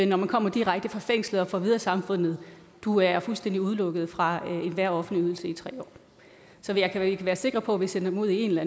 når man kommer direkte fra fængslet og får at vide af samfundet at du er fuldstændig udelukket fra enhver offentlig ydelse i tre år så vi kan være sikre på at vi sender dem ud i en eller